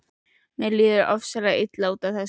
Mér líður ofsalega illa út af þessu.